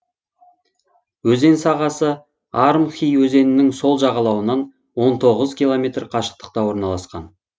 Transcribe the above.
өзен сағасы армхи өзенінің сол жағалауынан он тоғыз километр қашықтықта орналасқан